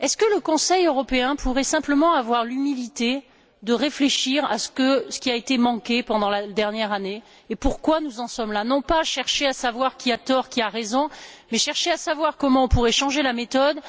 Le Conseil européen pourrait il simplement avoir l'humilité de réfléchir à ce qui a été manqué pendant la dernière année et pourquoi nous en sommes là? Il ne s'agit pas de chercher qui a tort ou qui a raison, mais de chercher à savoir comment on pourrait changer la méthode.